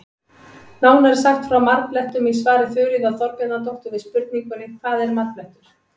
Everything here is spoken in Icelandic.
Nánar er sagt frá marblettum í svari Þuríðar Þorbjarnardóttur við spurningunni Hvað er marblettur?